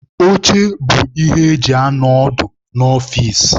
Oche bụ ihe eji anọ ọdụ n'ọfici.